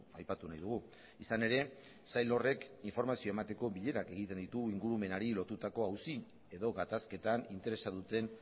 aipatu nahi dugu izan ere sail horrek informazioa emateko bilerak egiten ditu ingurumenari lotutako auzi edo gatazketan interesa duten